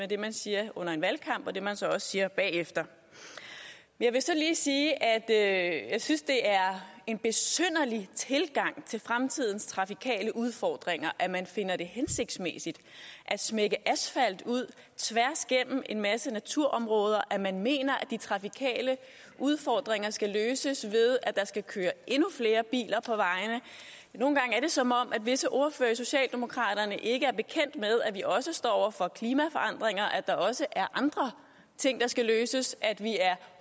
det man siger under en valgkamp og det man så også siger bagefter jeg vil så lige sige at jeg synes at det er en besynderlig tilgang til fremtidens trafikale udfordringer at man finder det hensigtsmæssigt at smække asfalt ud tværs gennem en masse naturområder at man mener at de trafikale udfordringer skal løses ved at der skal køre endnu flere biler på vejene nogle gange er det som om visse ordførere hos socialdemokraterne ikke er bekendt med at vi også står over for klimaforandringer at der også er andre ting der skal løses at vi er